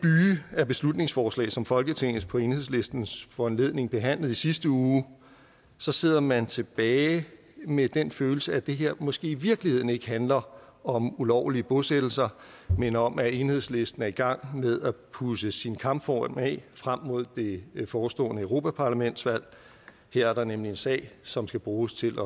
af beslutningsforslag som folketinget på enhedslistens foranledning behandlede i sidste uge så sidder man tilbage med den følelse at det her måske i virkeligheden ikke handler om ulovlige bosættelser men om at enhedslisten er i gang med at pudse sin kampform af frem mod det forestående europaparlamentsvalg her er der nemlig en sag som skal bruges til